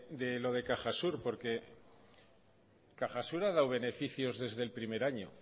de los de cajasur porque cajasur ha dado beneficios desde el primer año